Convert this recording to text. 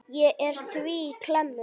Ég er því í klemmu.